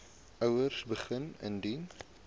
ouers begin indien